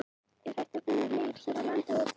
Er hægt að finna leir hér á landi- og þá hvar?